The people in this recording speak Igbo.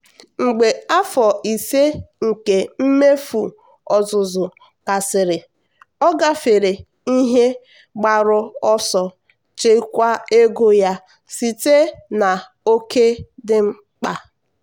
mgbe afọ ise nke mmefu ọzụzụ gasịrị ọ gafere ihe mgbaru ọsọ nchekwa ego ya site na oke dị mkpa.